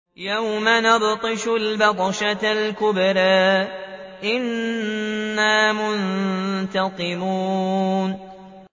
يَوْمَ نَبْطِشُ الْبَطْشَةَ الْكُبْرَىٰ إِنَّا مُنتَقِمُونَ